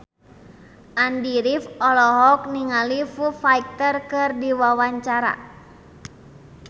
Andy rif olohok ningali Foo Fighter keur diwawancara